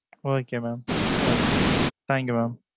Okay mam Okay Thank you mam